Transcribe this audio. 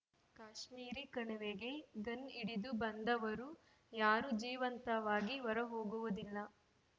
ಕಾಶ್ಮೀರಿ ಕಣಿವೆಗೆ ಗನ್‌ ಹಿಡಿದು ಬಂದವರು ಯಾರೂ ಜೀವಂತವಾಗಿ ಹೊರಹೋಗುವುದಿಲ್ಲ